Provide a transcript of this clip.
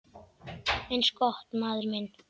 Eins gott, maður minn